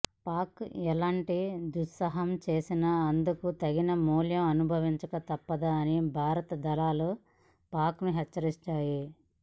పాక్ ఎలాంటి దుస్సాహసం చేసిన అందుకు తగిన మూల్యం అనుభవించక తప్పదని భారత దళాలు పాక్ను హెచ్చరించాయి